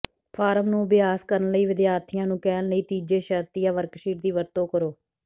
farm ਨੂੰ ਅਭਿਆਸ ਕਰਨ ਲਈ ਵਿਦਿਆਰਥੀਆਂ ਨੂੰ ਕਹਿਣ ਲਈ ਤੀਜੇ ਸ਼ਰਤੀਆ ਵਰਕਸ਼ੀਟ ਦੀ ਵਰਤੋਂ ਕਰੋ